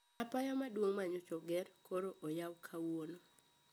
Apaya maduong` manyocha oger koro oyau kawuono